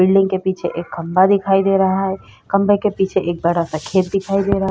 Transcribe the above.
Building के पीछे एक खंभा दिखाई दे रहा है। खंभे के पीछे एक बड़ा-सा खेत दिखाई दे रहा है।